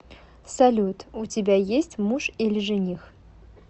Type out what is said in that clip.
салют у тебя есть муж или жених